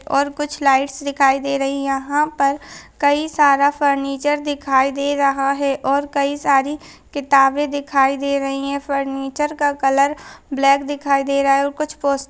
और कुछ लाइट्स दिखाई दे रही यहाँ पर कई सारा फर्नीचर दिखाई दे रहा है और कई सारी किताबें दिखाई दे रही है फर्नीचर का कलर ब्लैक दिखाई दे रहा है और कुछ--